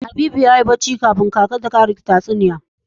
Habibu yayi bacci kafun kaka ta karsa tatsuniya.